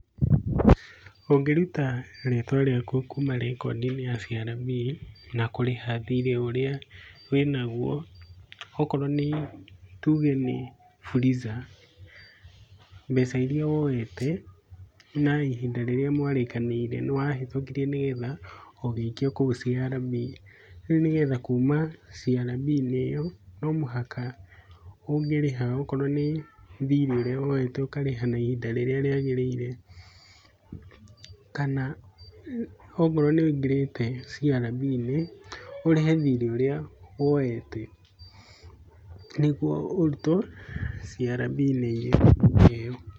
Ũngĩruta rĩtwa rĩaku kuuma rekondi-inĩ ya CRB na kũrĩha thirĩ ũrĩa wĩnaguo, okorwo nĩ, tuge nĩ Fuliza, mbeca iria woyete, na ihinda rĩrĩa mwarĩkanĩire nĩ wahetũkirie nĩgetha ũgĩikio kũu CRB. Rĩu nĩgetha kuuma CRB-inĩ, nomũhaka ũngĩrĩha. Okorwo nĩ thirĩ ũrĩa woyete ũkarĩha ihinda rĩrĩa rĩagĩrĩire, kana okorwo nĩ ũingĩrĩte CRB-inĩ, ũrĩhe thirĩ ũrĩa woyete, nĩguo ũrutwo CRB-inĩ ĩyo.